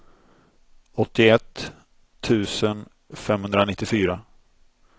åttioett tusen femhundranittiofyra